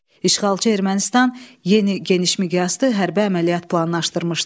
İşğalçı Ermənistan yeni geniş miqyaslı hərbi əməliyyat planlaşdırmışdı.